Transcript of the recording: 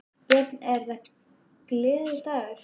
Björn: Er þetta gleðidagur?